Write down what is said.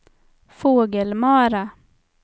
Fågelmara